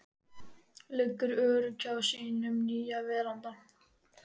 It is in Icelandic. Liggur örugg hjá sínum nýja verndara.